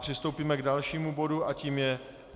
Přistoupíme k dalšímu bodu a tím je